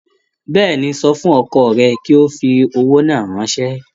Bẹ́ẹ̀ni, sọ fún ọkọ rẹ kí ó fi owó náà ránṣẹ́